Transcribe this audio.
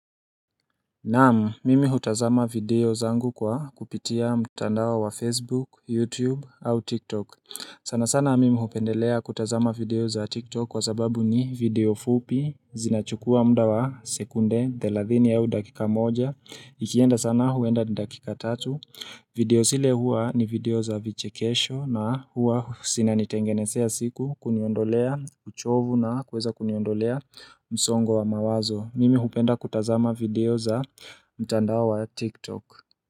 Naamu, mimi hutazama video zangu kwa kupitia mtandawa wa Facebook, YouTube, au TikTok. Sana sana mimi hupendelea kutazama video za TikTok kwa sababu ni video fupi zinachukua muda wa sekunde 30 yao dakika moja. Ikienda sana huenda ni dakika tatu. Video sile hua ni video za vichekesho na hua sinanitengenesea siku kuniondolea uchovu na kweza kuniondolea msongo wa mawazo. Mimi hupenda kutazama video za mtandao wa TikTok.